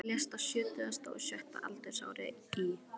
Hann lést á sjötugasta og sjötta aldursári í